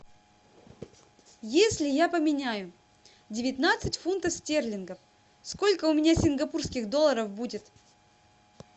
если я поменяю девятнадцать фунтов стерлингов сколько у меня сингапурских долларов будет